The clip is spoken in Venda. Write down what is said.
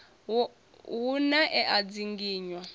hu na e a dzinginywa